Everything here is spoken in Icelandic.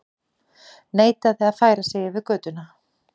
Neitaði að færa sig yfir götu